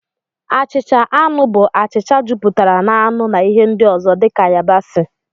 Achịcha anụ bụ achịcha jupụtara na anụ na ihe ndị ọzọ dị ka yabasị